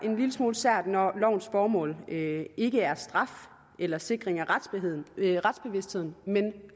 en lille smule sært når lovens formål ikke ikke er straf eller sikring af retsbevidstheden men